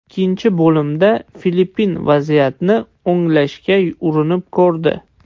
Ikkinchi bo‘limda Filippin vaziyatni o‘nglashga urinib ko‘rdi.